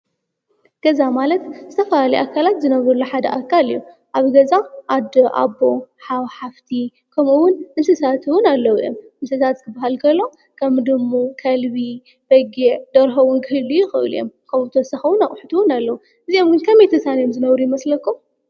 ገዛ ማለት ዝተፈላለዩ ኣካላት ዝነብሩሉ ሓደ ኣካል እዩ፡፡ ኣብ ገዛ ኣዶ፣ ኣቦ፣ ሓው፣ ሓፍቲ ከምኡውን እንስሳት እውን ኣለዉ እዮም፡፡ ገዛ ክበሃል ከሎ ከም ድሙ፣ ከልቢ፣ በጊዕ፣ ደርሆ ክህልዩ ይኽእሉ እዮም፡፡ ካብኡ ብተወሳኺ እውን ኣቑሑ እውን ኣለዉ እዮም፡፡ እዚኦም ግን ከመይ ተሳንዮም ዝነብሩ ይመስለኩም?